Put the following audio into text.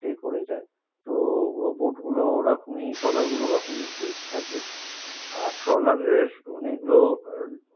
stay করে যায়। তো bote গুলো ওরকমই, ট্রলার গুলো ওরকমই থাকে। আর ট্রলারের